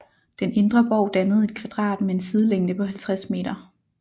Den indre borg dannede et kvadrat med en sidelængde på 50 meter